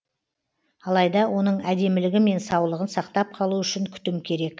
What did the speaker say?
алайда оның әдемілігі мен саулығын сақтап қалу үшін күтім керек